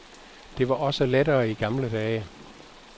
Det var også lettere i gamle dage.